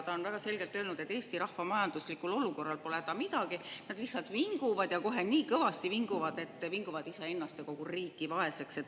Ta on väga selgelt öelnud, et Eesti rahva majanduslikul olukorral pole häda midagi, nad lihtsalt vinguvad ja kohe nii kõvasti vinguvad, et vinguvad iseennast ja kogu riiki vaeseks.